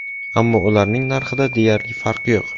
Ammo ularning narxida deyarli farq yo‘q.